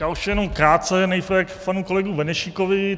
Já už jenom krátce nejprve k panu kolegu Benešíkovi.